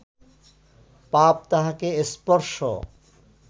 পাপ তাহাকে স্পর্শ